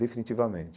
Definitivamente.